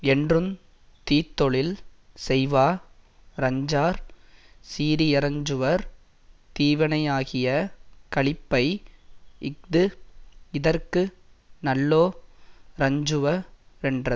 என்றுந் தீத்தொழில் செய்வா ரஞ்சார் சீரியரஞ்சுவர் தீவினையாகிய களிப்பை இஃது இதற்கு நல்லோ ரஞ்சுவ ரென்றது